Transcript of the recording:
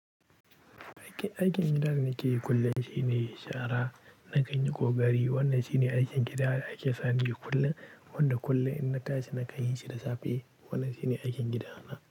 Aikin, aikin gida da nake yi kullum shine shara, na kanyi kokari. Wannan shine aikin gida da ake sani yi kullum. Wanda kullum in na tashi na kan yishi da safe. Wannan shine aikin gidana.